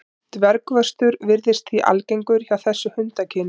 Dvergvöxtur virðist því algengur hjá þessu hundakyni.